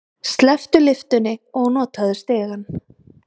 Slepptu lyftunni og notaðu stigann.